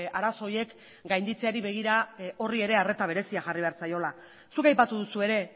arazo horiek gainditzeari begira horri ere arreta berezia jarri behar zaiola zuk aipatu duzu ere